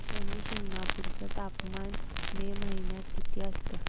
शनी शिंगणापूर चं तापमान मे महिन्यात किती असतं